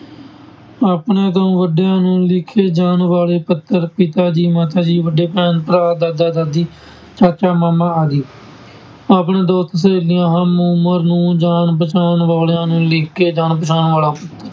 ਆਪਣੇ ਤੋਂ ਵੱਡਿਆਂ ਨੂੰ ਲਿਖੇ ਜਾਣ ਵਾਲੇ ਪੱਤਰ ਪਿਤਾ ਜੀ, ਮਾਤਾ ਜੀ, ਵੱਡੇ ਭੈਣ-ਭਰਾ, ਦਾਦਾ-ਦਾਦੀ, ਚਾਚਾ, ਮਾਮਾ ਆਦਿ ਆਪਣੇ ਦੋਸਤ, ਸਹੇਲੀਆਂ, ਹਮ-ਉਮਰ ਨੂੰ, ਜਾਣ ਪਛਾਣ ਵਾਲਿਆਂ ਨੂੰ ਲਿਖਕੇ, ਜਾਣ ਪਛਾਣ ਵਾਲਾ